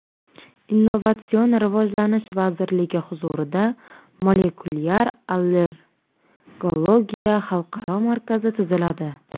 Innovatsion rivojlanish vazirligi huzurida Molekulyar allergologiya xalqaro markazi tuziladi.